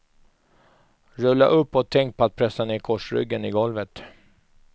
Rulla upp och tänk på att pressa ner korsryggen i golvet.